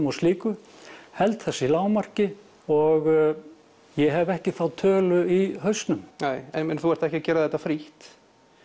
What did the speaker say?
og slíku held þessu í lágmarki og ég hef ekki þá tölu í hausnum nei en ég meina þú ert ekki að gera þetta frítt